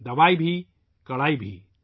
دوائی بھی ، کڑھائی بھی